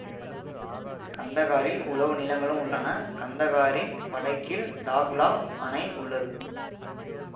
கந்தகாரில் உழவு நிலங்களும் உள்ளன கந்தகாரின் வடக்கில் தாஹ்லா அணை உள்ளது